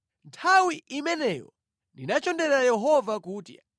Nthawi imeneyo ndinachonderera Yehova kuti,